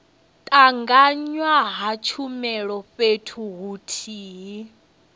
tanganywa ha tshumelo fhethu huthihi